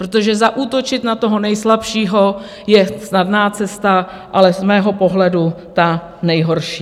Protože zaútočit na toho nejslabšího je snadná cesta, ale z mého pohledu ta nejhorší.